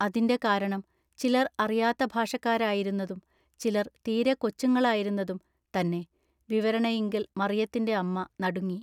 അതിന്റെ കാരണം ചിലർഅറിയാത്ത ഭാഷക്കാരായിരുന്നതും ചിലർ തീരെ കൊച്ചുങ്ങളായിരുന്നതും തന്നെ ൟ വിവരണയിങ്കൽ മറിയത്തിന്റെ അമ്മ നടുങ്ങി.